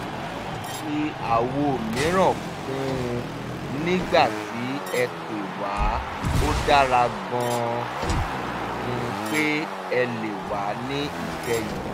a fi àwo mìíràn kún un nígbà tí ẹ pè wá ó dára gan-an pé ẹ lè wá ní ìkẹyìn